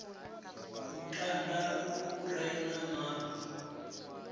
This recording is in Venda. lutanda lu re na mabu